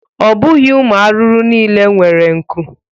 Ọ bụghi ụmụ arụrụ niile were nku.